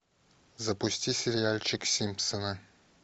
запусти сериальчик симпсоны